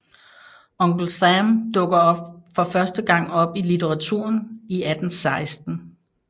Uncle Sam dukker for første gang op i litteraturen i 1816